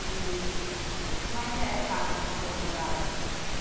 E como é que era a casa onde o senhor morava?